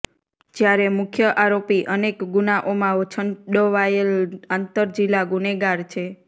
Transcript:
જયારે મુખ્ય આરોપી અનેક ગુનાઓમાં છંડોવાયેલ આંતરજીલ્લા ગુનેગાર છે